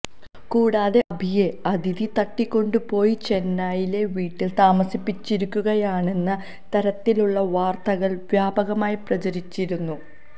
കൂടാതെ അഭിയെ അതിഥി തട്ടിക്കൊണ്ടുപോയി ചെന്നൈയിലെ വീട്ടിൽ താമസിപ്പിച്ചിരിക്കുകയാണെന്ന തരത്തിലുള്ള വാർത്തകൾ വ്യാപകമായി പ്രചരിച്ചിരുന്നു